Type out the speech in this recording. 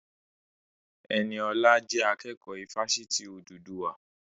Ẹniọlá jẹ́ akẹ́kọ̀ọ́ ifásitì Odùduwà